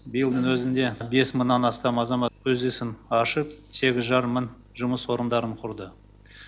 биылдың өзінде бес мыңнан астам азамат өз ісін ашып сегіз жарым мың жұмыс орындарын құрды